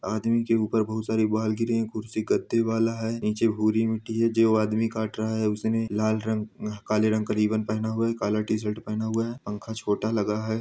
आदमी के ऊपर बहोत सारे बाल गिरे है खुर्सी गद्दे वाला है निचे हुरी मिटटी है जो आदमी काट रहां है उसने लाल रंग अह काले रंग करीबन पहना हुआ है काला टीशर्ट पहना हुआ है पंखा छोटा लग रहा हैं।